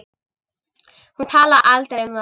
Hún talaði aldrei um það.